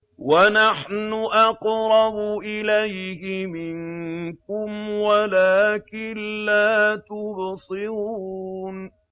وَنَحْنُ أَقْرَبُ إِلَيْهِ مِنكُمْ وَلَٰكِن لَّا تُبْصِرُونَ